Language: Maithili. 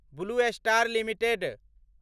blue star limited